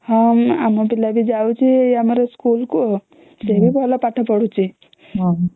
ହଁ ଆମ ପିଲା ବି ଯାଉଛି ଆମର ସ୍କୁଲ କୁ ସେ ବି ଭଲ ପାଠ ପଢୁଛି